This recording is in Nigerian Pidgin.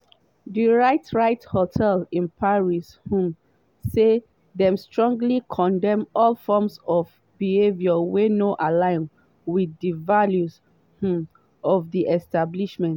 di ritz ritz hotel in paris um say dem “strongly condemn all forms of behaviour wey no align with di values um of di establishment”.